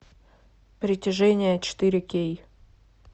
притяжение четыре кей